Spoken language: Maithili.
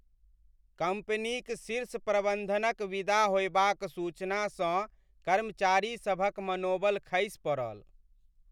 कम्पनीक शीर्ष प्रबन्धनक विदा होयबाक सूचनासँ कर्मचारीसभक मनोबल खसि पड़ल।